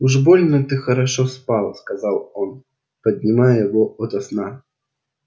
уж больно ты хорошо спал сказал он поднимая его ото сна